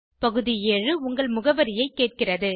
பகுதி 7 உங்கள் முகவரியைக் கேட்கிறது